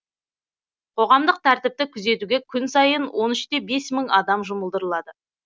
қоғамдық тәртіпті күзетуге күн сайын он үште бес мың адам жұмылдырылады